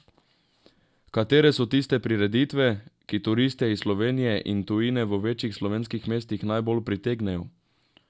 Katere so tiste prireditve, ki turiste iz Slovenije in tujine v večjih slovenskih mestih najbolj pritegnejo?